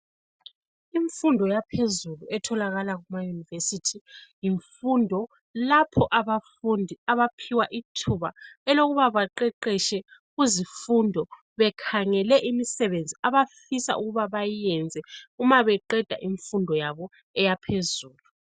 Imfundo yaphezulu etholakala kuma university yimfundo lapho abafundi abaphiwa ithuba elokuba baqeqetshe kuzifundo bekhangele imisebenzi abafisa ukuba bayiyenze uma beqeda imfundo yabo eyaphezulu.